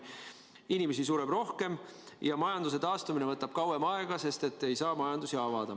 Inimesi sureb rohkem ja majanduse taastumine võtab kauem aega, sest ei saa majandusi avada.